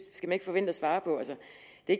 det